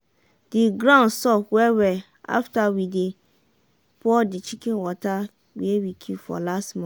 The ground soft well well after we dey pour the chicken water wey e keep for last month